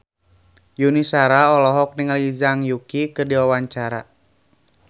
Yuni Shara olohok ningali Zhang Yuqi keur diwawancara